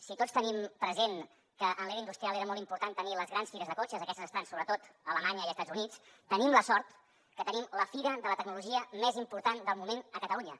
si tots tenim present que en l’era industrial era molt important tenir les grans fires de cotxes aquestes estan sobretot a alemanya i als estats units tenim la sort que tenim la fira de la tecnologia més important del moment a catalunya